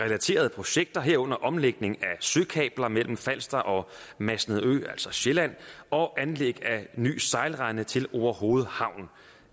relaterede projekter herunder omlægning af søkabler mellem falster og masnedø altså sjælland og anlæg af en ny sejlrende til orehoved havn